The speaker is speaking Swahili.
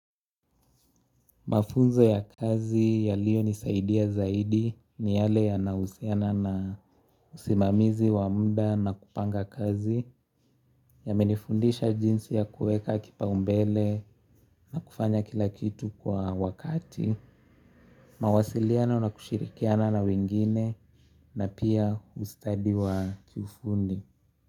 Mafunzo ya kazi yaliyo nisaidia zaidi ni yale yanausiana na usimamizi wa mda na kupanga kazi. Yamenifundisha jinsi ya kueka kipa umbele na kufanya kila kitu kwa wakati. Mawasiliano na kushirikiana na wengine na pia ustadi wa kiufundi.